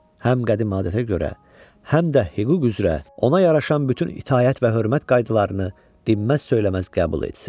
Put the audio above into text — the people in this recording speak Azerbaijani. Həm qədim adətə görə həm də hüquq üzrə ona yaraşan bütün itaət və hörmət qaydalarını dinməz söyləməz qəbul etsin.